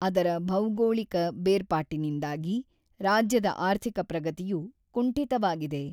ಅದರ ಭೌಗೋಳಿಕ ಬೇರ್ಪಾಟಿನಿಂದಾಗಿ, ರಾಜ್ಯದ ಆರ್ಥಿಕ ಪ್ರಗತಿಯು ಕುಂಠಿತವಾಗಿದೆ.